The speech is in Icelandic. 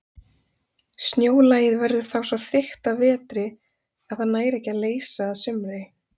Snjólagið verður þá svo þykkt að vetri að það nær ekki að leysa að sumri.